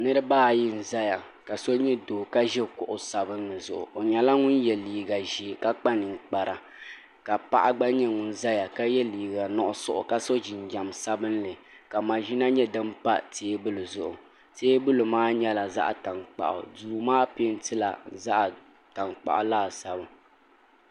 niraba ayi n ʒɛya ka so nyɛ doo ka ʒi kuɣu sabinli zuɣu o nyɛla ŋun yɛ liiga ʒiɛ ka kpa ninkpara ka paɣa gba nyɛ ŋun ʒɛya ka yɛ liiga nuɣso ka so jinjɛm sabinli ka maʒina nyɛ din pa teebuli zuɣu teebuli maa nyɛla zaɣ tankpaɣu duu maa peentila zaɣ tankpaɣu laasabu